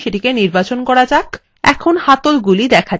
এখন হাতলগুলি দেখা যাচ্ছে